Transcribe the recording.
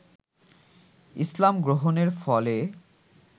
ইসলাম গ্রহণের ফলে